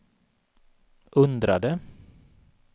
undrade